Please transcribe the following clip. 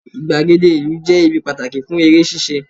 igbagede ìlú je ibi pàtàkì fún eré ṣíṣe